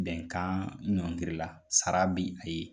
Bɛnkan ɲɔngirila sara bɛ a ye